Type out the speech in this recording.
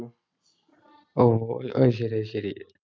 ഓ, അത് ശരി. അതുശരി.